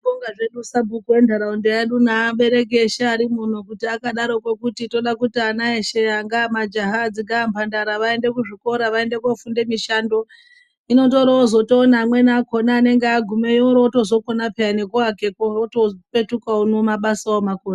Tinobonga zvedu sabhuku entaraunda yedu neabereki eshe arimumomu kuti akadaro kuti akadaroko kuti Toda kuti ana eshe anga majaha dzika mhandara vaende kuzvikora vaende kofunda mishando inondoroozotona amweni akona anenge agumeyo orotozokona peya ngekuakako opetuka uno mabasa omakona.